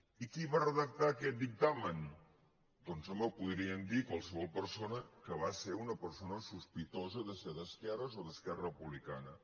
i qui va redactar aquest dictamen doncs home ho podrien dir qualsevol persona que va ser una persona sospitosa de ser d’esquerres o d’esquerra republica·na